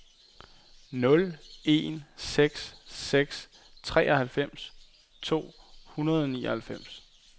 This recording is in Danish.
nul en seks seks treoghalvfems to hundrede og nioghalvfjerds